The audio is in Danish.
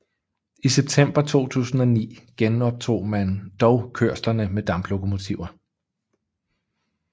I september 2009 genoptog man dog kørslerne med damplokomotiver